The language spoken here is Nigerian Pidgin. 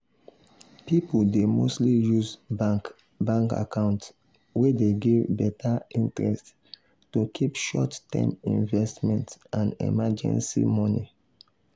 people dey mostly use bank bank account wey dey give better interest to keep short-term investment and emergency money.